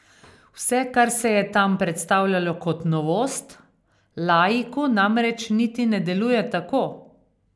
Vse, kar se je tam predstavljalo kot novost, laiku namreč niti ne deluje tako.